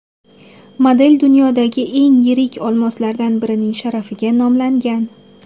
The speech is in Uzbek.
Model dunyodagi eng yirik olmoslardan birining sharafiga nomlangan.